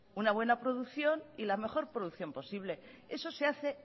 una buena producción y la mejor producción posible eso se hace